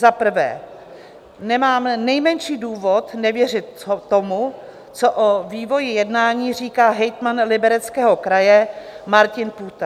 Za prvé nemám nejmenší důvod nevěřit tomu, co o vývoji jednání říká hejtman Libereckého kraje Martin Půta.